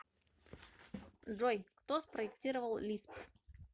джой кто спроектировал лисп